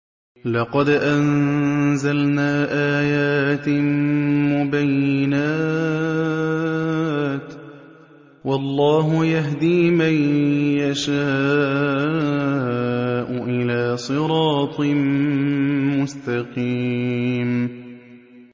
لَّقَدْ أَنزَلْنَا آيَاتٍ مُّبَيِّنَاتٍ ۚ وَاللَّهُ يَهْدِي مَن يَشَاءُ إِلَىٰ صِرَاطٍ مُّسْتَقِيمٍ